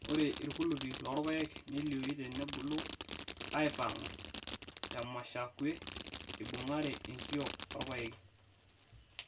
Ore irkulupi loorpaek nelioyu tenebulu aipangu temushakwe eibungare enkiok orpaeki